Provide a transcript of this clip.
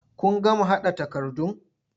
Kun gama haɗa takardun?